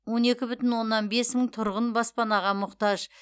он екі бүтін оннан бес мың тұрғын баспанаға мұқтаж